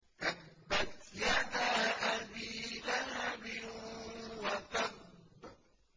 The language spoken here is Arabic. تَبَّتْ يَدَا أَبِي لَهَبٍ وَتَبَّ